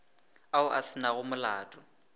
ao a se nago molato